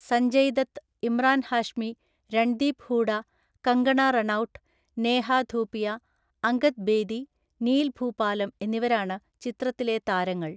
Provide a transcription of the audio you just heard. സഞ്ജയ് ദത്ത്, ഇമ്രാൻ ഹാഷ്മി, രൺദീപ് ഹൂഡ, കങ്കണ റണൌട്ട്, നേഹ ധൂപിയ, അംഗദ് ബേദി, നീൽ ഭൂപാലം എന്നിവരാണ് ചിത്രത്തിലെ താരങ്ങൾ.